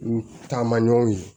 N taama ɲɔgɔn ye